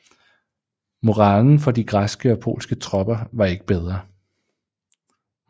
Moralen for de græske og polske tropper var ikke bedre